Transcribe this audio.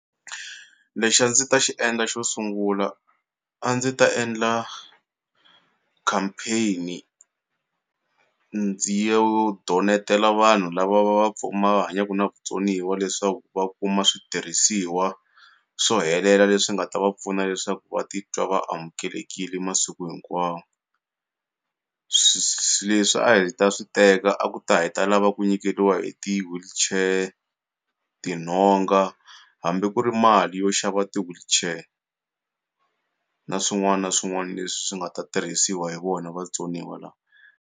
Lexi a ndzi ta xi endla xo sungula a ndzi ta endla campaign-i ndzi yo donetela vanhu lava va va va hanyaku na vutsoniwa leswaku va kuma switirhisiwa swo helela leswi nga ta va pfuna leswaku va titwa vaamukelekile masiku hinkwawo leswi a hi ta swi teka a ku ta hi ta lava ku nyikeriwa hi ti-wheelchair tinhonga hambi ku ri mali yo xava ti-wheelchair na swin'wana na swin'wana leswi swi nga ta tirhisiwa hi vona vatsoniwa lawa.